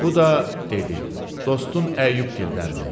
Bu da, dedi, dostun Əyyubgildəndir.